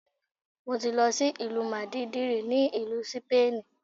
Mo ti lọ sí ìlú Màdídìrì ní ìlú Sípánìì.